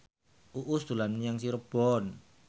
Uus dolan menyang Cirebon